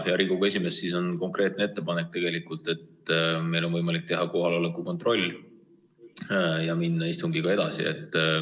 Hea Riigikogu esimees, on konkreetne ettepanek: meil on võimalik teha kohaloleku kontroll ja minna istungiga edasi.